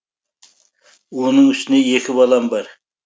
оның үстіне екі балам бар